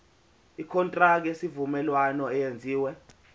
ikontraki yesivumelwano eyenziwe